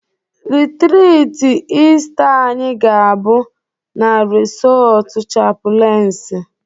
Rịtrịtị Ịsta anyị ga-abụ na resọọtụ chapụlensi